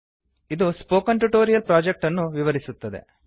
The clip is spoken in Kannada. ಇದು ಸ್ಪೋಕನ್ ಟ್ಯುಟೋರಿಯಲ್ ಪ್ರೊಜೆಕ್ಟ್ ಅನ್ನು ವಿವರಿಸುತ್ತದೆ